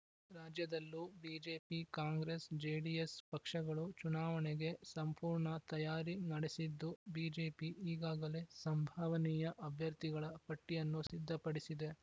ರಾಜ್ಯದಲ್ಲೂ BJP Congress JDS ಪಕ್ಷಗಳು ಚುನಾವಣೆಗೆ ಸಂಪೂರ್ಣ ತಯಾರಿ ನಡೆಸಿದ್ದು ಬಿಜೆಪಿ ಈಗಾಗಲೇ ಸಂಭಾವನೀಯ ಅಭ್ಯರ್ಥಿಗಳ ಪಟ್ಟಿಯನ್ನು ಸಿದ್ಧಪಡಿಸಿದೆ